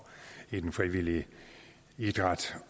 i den frivillige idræt